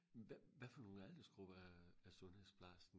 hvad hvad for nogle aldersgrupper er sundhedsplejersken